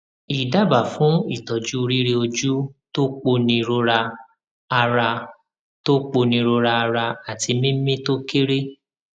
idaba fun itoju rireoju to ponirora ara to ponirora ara ati mimi to kere